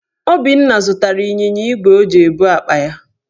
Obinna zụtara ịnyịnya igwe o ji ebu akpa ya.